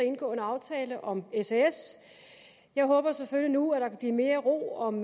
indgå en aftale om sas jeg håber selvfølgelig nu at der kan blive mere ro om